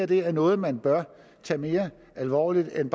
det her er noget man bør tage mere alvorligt end